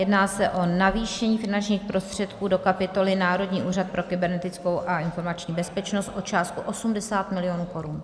Jedná se o navýšení finančních prostředků do kapitoly Národní úřad pro kybernetickou a informační bezpečnost o částku 80 mil. korun.